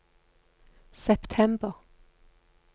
september